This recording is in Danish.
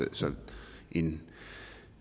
en